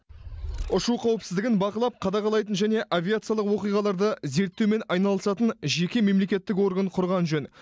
ұшу қауіпсіздігін бақылап қадағалайтын және авиациялық оқиғаларды зерттеумен айналысатын жеке мемлекеттік орган құрған жөн